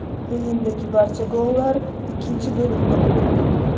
O‘yindagi barcha gollar ikkinchi bo‘limda urildi.